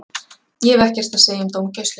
Ég hef ekkert að segja um dómgæsluna.